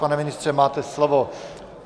Pane ministře, máte slovo.